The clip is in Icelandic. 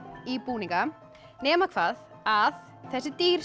í búninga nema hvað að þessi dýr